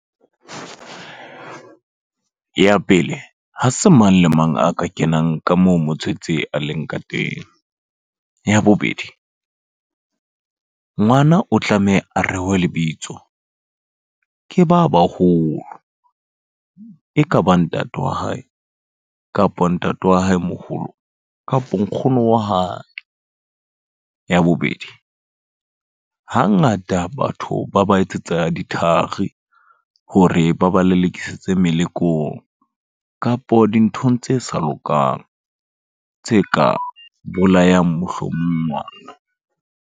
Ya pele, ha se mang le mang a ka kenang ka moo motswetse a leng ka teng. Ya bobedi, ngwana o tlameha a rewe lebitso, ke ba baholo. Ekaba ntate wa hae, kapa ntate wa hae moholo, kapo nkgono wa hae. Ya bobedi, hangata batho ba ba etsetsa dithari, hore ba ba lelekisitse melekong. Kapo dinthong tse sa lokang, tse ka bolayang mohlomong ngwana.